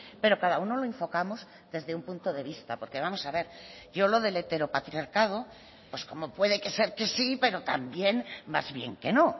pero cada uno lo enfocamos desde un punto de vista porque vamos a ver yo lo del heteropatriarcado pues como puede que ser que sí pero también más bien que no